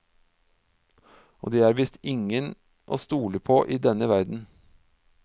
Og det er visst ingen å stole på i denne verden.